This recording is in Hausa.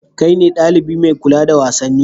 Kai ne ɗalibi mai kula da wasanni?